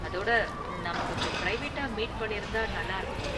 அதோட, நாம கொஞ்சம் பிரைவேட்டா மீட் பண்ணிருந்தா நல்லா இருக்கும்